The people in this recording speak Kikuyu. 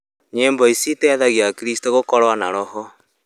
Nyĩmbo ici iteithagia akristo gũkorwo na roho